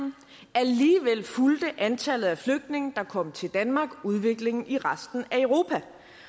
alligevel fulgte antallet af flygtninge der kom til danmark udviklingen i resten